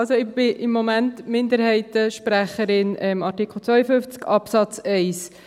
Also: Ich bin im Moment Minderheitensprecherin, Artikel 52 Absatz 1.